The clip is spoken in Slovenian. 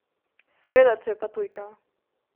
Seveda, če je pa tujka!